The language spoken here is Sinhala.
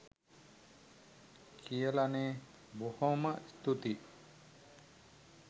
කියලනේ.බොහෝම ස්තූතියි.